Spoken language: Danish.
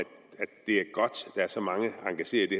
det er godt at så mange er engageret i